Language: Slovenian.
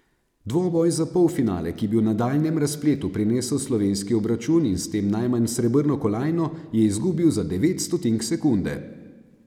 Dvoboj za polfinale, ki bi v nadaljnjem razpletu prinesel slovenski obračun in s tem najmanj srebrno kolajno, je izgubil za devet stotink sekunde.